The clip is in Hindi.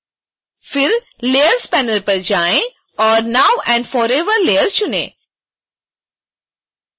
फिर layers panel पर जाएँ और now and forever लेयर चुनें